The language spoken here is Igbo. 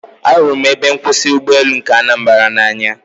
Ahụrụ m ebe nkwụsị ụgbọelu nke Anambra n'anya